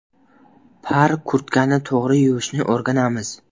Par kurtkani to‘g‘ri yuvishni o‘rganamiz.